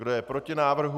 Kdo je proti návrhu?